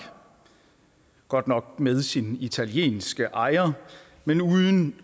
godt nok med sin italienske ejer men uden